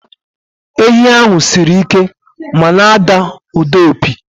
Enyí ahụ siri ike ma na-ada ụda opi.